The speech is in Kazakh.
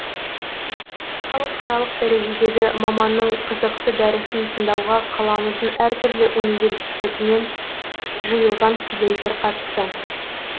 халықаралық дәрежедегі маманның қызықты дәрісін тыңдауға қаламыздың әр түрлі университетінен жиылған студенттер қатысты